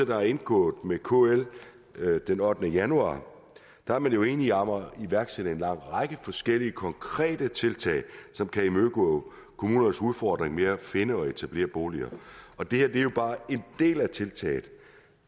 der er indgået med kl den ottende januar er man jo enige om at iværksætte en lang række forskellige konkrete tiltag som kan imødekomme kommunernes udfordringer med at finde og etablere boliger og det her er jo bare en del af tiltaget